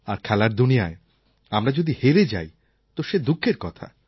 আর খেলার দুনিয়ায় আমরা যদি হেরে যাই তো সে দুঃখের কথা